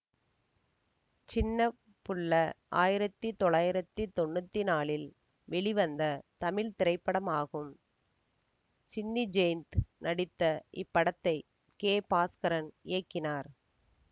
சின்ன புள்ள ஆயிரத்தி தொள்ளாயிரத்தி தொன்னூற்தி நாலில் வெளிவந்த தமிழ் திரைப்படமாகும் சின்னி ஜெயந்த் நடித்த இப்படத்தை கே பாஸ்கரன் இயக்கினார்